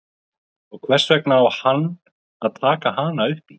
Og hvers vegna á hann að taka hana upp í?